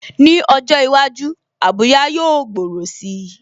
Ní ọjọ́ iwájú, Abuja yóò gbòòrò si